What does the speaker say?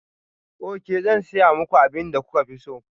Ok, zan saya muku abin da kuka fi so.